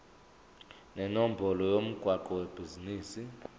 nenombolo yomgwaqo webhizinisi